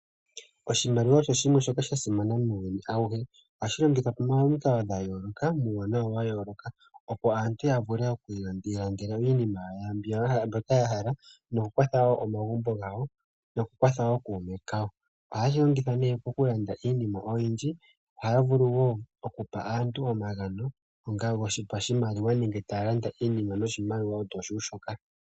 Oshimaliwa osho shimwe shoka sha simana muuyuni auhe, ohashi longithwa pomikalo dha yooloka muuwanawa wa yooloka, opo aantu ya vule okwiilandela iinima yawo mbyoka ya hala noku kwatha wo omagumbo gawo noku kwatha okuume kawo. Ohaye shi longitha ne oku landa iinima oyindji noshowo okupa aantu omagano go pashimaliwa nenge taya landa iinima noshimaliwa osho tuu shoka.